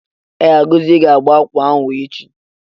Ee, Agozie ga agba akwa ahu echi.